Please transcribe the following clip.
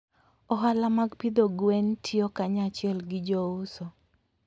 Ohala mag pidho gwen tiyo kanyachiel gi jouso.